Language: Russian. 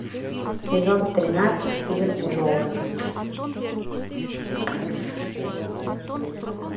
сезон тринадцать фильм джоуи